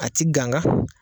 A tɛ kanka